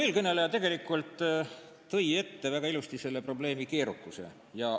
Eelkõneleja tõi tegelikult väga ilusti välja selle probleemi keerukuse.